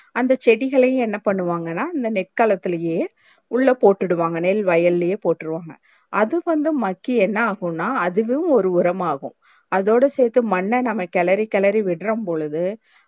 அந்த செடிகளையும் என்ன பன்னுவாங்கான அந்த நெல் களத்துலே உள்ள போட்டுடுவாங்க னேல் வயலே போட்ருவாங்க அது வந்து மக்கி என்ன ஆகுனா அதுவே ஒரு உரமாகும் அதோட சேத்து மண் நாம கேளரி கேளரி விடுரபோளுதும்